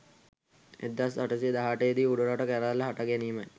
1818 දී උඩරට කැරැල්ල හට ගැනීමයි.